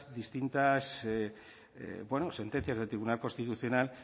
distintas bueno sentencias del tribunal constitucional